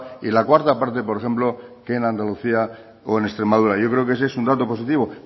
y la cuarta parte por ejemplo que en andalucía o en extremadura yo creo que ese es un dato positivo